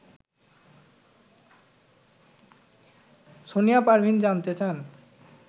সোনিয়া পারভীন জানতে চান